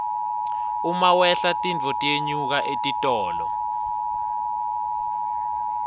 uma wehla titfo tiyenyuka etitolo